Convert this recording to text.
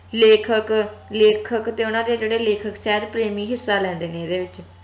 ਲੇਖਕ ਲੇਖਕ ਤੇ ਓਹਨਾ ਦੇ ਜੇਹੜੇ ਲੇਖਕ ਪ੍ਰੇਮੀ ਹਿੱਸਾ ਲੈਂਦੇ ਨੇ ਏਹਦੇ ਵਿਚ